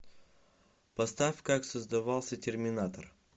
поставь как создавался терминатор